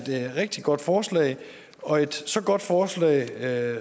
rigtig godt forslag og et så godt forslag at